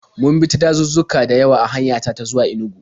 Mun bi ta dazuzzuka da yawa a hanya ta ta zuwa Inugu.